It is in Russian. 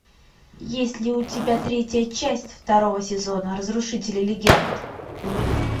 есть ли у тебя третья часть второго сезона разрушители легенд